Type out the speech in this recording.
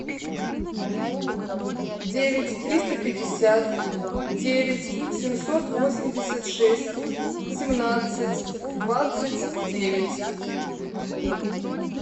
девять триста пятьдесят девять семьсот восемьдесят шесть семнадцать двадцать девять